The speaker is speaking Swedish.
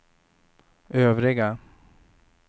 övriga